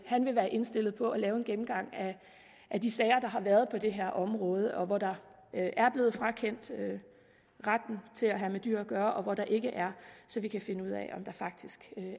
han vil være indstillet på at lave en gennemgang af de sager der har været på det her område og af hvor der er blevet frakendt retten til at have med dyr at gøre og hvor der ikke er så vi kan finde ud af om der faktisk